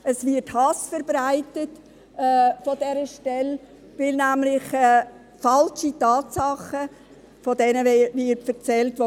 Es wird von dieser Stelle Hass verbreitet, weil von falschen Tatsachen berichtet wird.